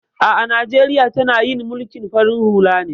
A'a Najeriya tana yin mulkin farin hula ne